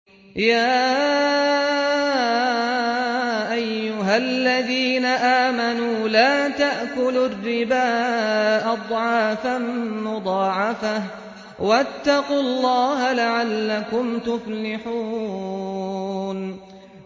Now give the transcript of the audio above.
يَا أَيُّهَا الَّذِينَ آمَنُوا لَا تَأْكُلُوا الرِّبَا أَضْعَافًا مُّضَاعَفَةً ۖ وَاتَّقُوا اللَّهَ لَعَلَّكُمْ تُفْلِحُونَ